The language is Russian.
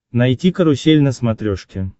найти карусель на смотрешке